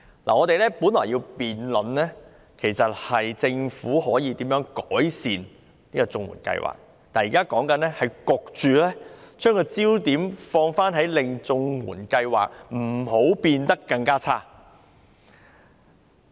我們本來要辯論的是政府可以如何改善綜援計劃，但現時討論的焦點卻被迫變成不要令綜援計劃變得更差。